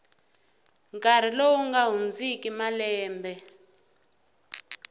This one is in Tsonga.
nkarhi lowu nga hundziki malembe